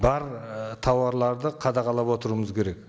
бар ы тауарларды қадағалап отыруымыз керек